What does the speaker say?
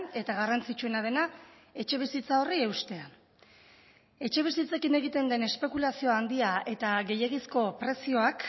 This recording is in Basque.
eta garrantzitsuena dena etxebizitza horri eustea etxebizitzekin egiten den espekulazio handia eta gehiegizko prezioak